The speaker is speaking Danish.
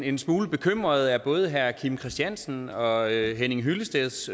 en smule bekymret over både herre kim christiansens og herre henning hyllesteds